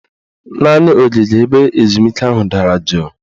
Naanị ogige ebe ezumike ahụ dara juu